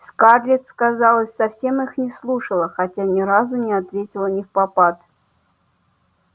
скарлетт сказалось совсем их не слушала хотя ни разу не ответила невпопад